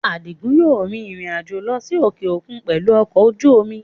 Adigun máa rìn-ìrìn àjò lọ sí òkè òkun pẹ̀lú ọkọ̀ ojú omi